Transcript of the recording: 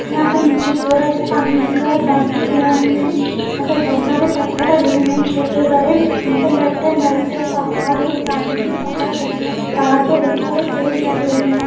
यहाँ पे नीचे थोड़ा सा पानी दिख रहा है बांध के यहाँ पे है यहाँ पर बहोत सारे पत्थर डले हुए हैं छोटे-बड़े यहाँ पे लेफ्ट एंड राइट साइड पहाड हैं सामने भी पहाड दिख रहा है पहाड़ पे बहोत सारे पेड़ लगे हुए हैं।